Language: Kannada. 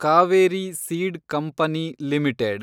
Kaveri seed company limited